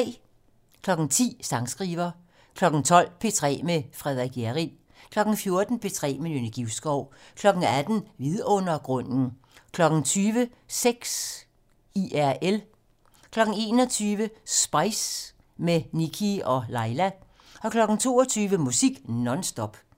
10:00: Sangskriver 12:00: P3 med Frederik Hjerrild 14:00: P3 med Nynne Givskov 18:00: Vidundergrunden 20:00: Sex IRL 21:00: Spice - med Nikkie og Laila 22:00: Musik non stop